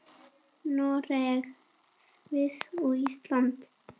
Noreg, Sviss og Ísland.